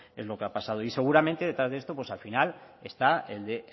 es lo que ha pasado y seguramente detrás de esto pues al final está el de